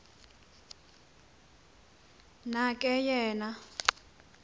na ke yena